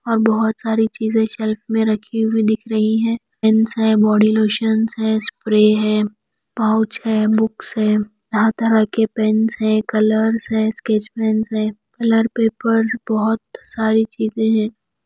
और बहुत सारी चीजें शेल्फ में रखी हुई दिख रही हैं पेंस है बॉडीलोशंस है स्प्रे है पाउच है बुक्स है तरह-तरह के पेंस हैं कलर्स हैं स्केच पेंस हैं कलर पेपर्स बहोत सारी चीजें हैं।